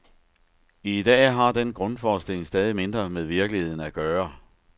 I dag har den grundforestilling stadigt mindre med virkeligheden at gøre.